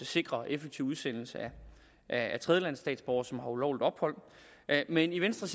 sikre en effektiv udsendelse af tredjelandsstatsborgere som har ulovligt ophold men i venstre